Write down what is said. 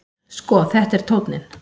Sko, þetta er tónninn!